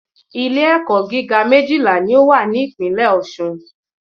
Ilé ẹ̀kọ́ gíga méjìlá ní o wà ní ìpínlè Ọ̀ṣun